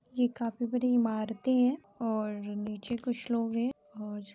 ये काफी बड़ी इमारते है और नीचे कुछ लोग है और--